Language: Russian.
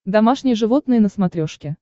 домашние животные на смотрешке